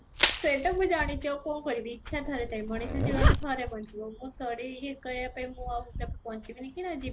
ସେଇଟା ମୁଁ ଜାଣିଛି ଆଉ କ'ଣ କରିବି ଇଛା ଥରେ ଥାଏ ମଣିଷ ଜୀବନରେ ଥରେ ବଞ୍ଚିବ ମୁଁ ଥରେ ହିଁ ୟେ କରିବା ପାଇଁ ମୁଁ ବଞ୍ଚିବି କି ନାହିଁ